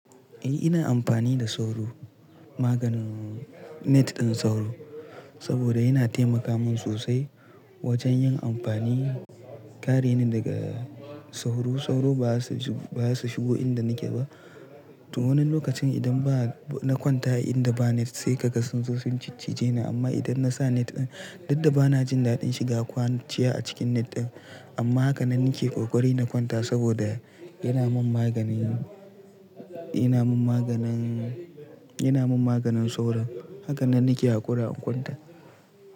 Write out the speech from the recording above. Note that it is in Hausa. Eh ina amfani da sauro, maganin net ɗin sauro saboda yana taimaka min sosai wajen yin amfani. Kare ni daga sauro. Sauro baza su shigo inda nake ba. To wani lokacin idan ba na kwanta a inda ba net sai ka ga sun zo sun ciccije ni amma idan na sa net ɗin, dukda bana jin daɗin shiga kwanciya a cikin net ɗin. Amma haka nan nake kokari na kwanta saboda yana min maganin, yana min maganin, yana min maganin sauro. Haka nan nake haƙura in kwanta.